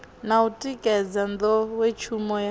na u tikedza nḓowetshumo ya